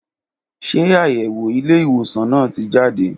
Ṣe ayẹwo ilé ìwòsan náà ti jade